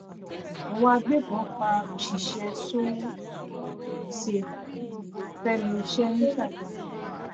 àwọn agbébọ́n pa òṣìṣẹ́ so-safe sẹ́nu iṣẹ́ ní ṣàgámù